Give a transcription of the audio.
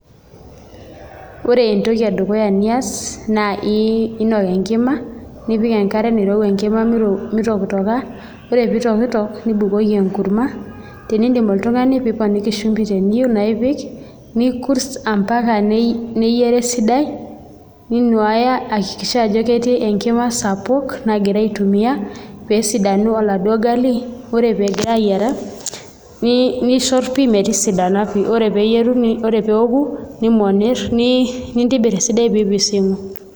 Ore entoki edukuya nias naa iinok enkima nipik enkare nairowua enkima mitokitoka ore pee itokitok nibukoki enkurma tenitadamua oltung'ani tinewueji shumbi piipik nikurst mpaka neyiara esidai ninuaaya aiakikisha ajo ketii enkima sapuk egira aitumia pee esidanu oladuo gali ore pee egira ayiara nishorr pii metisidana ore pee eoku nimonirr nintobirr esidai nipising'.